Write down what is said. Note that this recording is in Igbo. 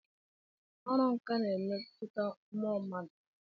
Ọrụ nkà na-emetụta mmụọ mmadụ.